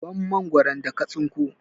Ban Mangwaron da ka tsinko!